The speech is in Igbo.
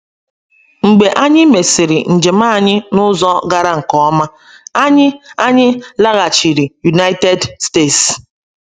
Mgbe anyị mesịrị njem anyị n’ụzọ gara nke ọma, anyị anyị laghachiri United States.